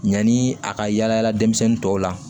Yanni a ka yaala denmisɛnnin tɔw la